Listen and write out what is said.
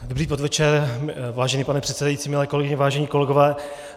Dobrý podvečer, vážený pane předsedající, milé kolegyně, vážení kolegové.